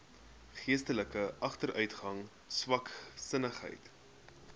geestelike agteruitgang swaksinnigheid